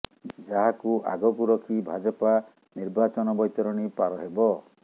ଯାହାକୁ ଆଗକୁ ରଖି ଭାଜପା ନିର୍ବାଚନ ବୈତରଣୀ ପାର ହେବ